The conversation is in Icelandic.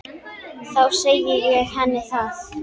Þá segi ég henni það.